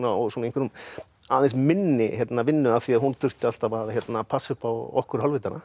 og í aðeins minni vinnu af því hún þurfti alltaf að passa upp á okkur